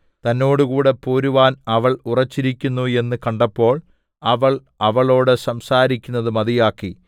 തന്നോടുകൂടെ പോരുവാൻ അവൾ ഉറച്ചിരിക്കുന്നു എന്നു കണ്ടപ്പോൾ അവൾ അവളോടു സംസാരിക്കുന്നത് മതിയാക്കി